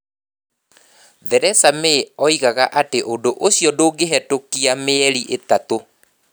Theresa May oigaga atĩ ũndũ ũcio ndungehetokia mĩeri ĩtatũ.